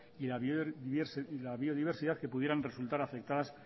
y la biodiversidad que pudieran resultar afectadas